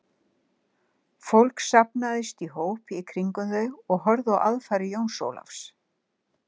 Fólk safnaðist í hóp í kringum þau og horfði á aðfarir Jóns Ólafs.